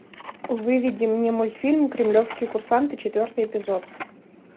выведи мне мультфильм кремлевские курсанты четвертый эпизод